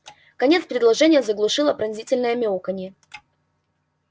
конец предложения заглушило пронзительное мяуканье